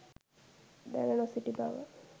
දැන නොසිටි බව